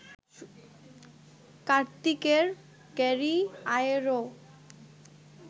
কার্তিকের ক্যারিয়ারেও